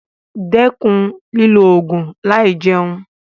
Dẹ́kun lílo ògùn láì jẹun.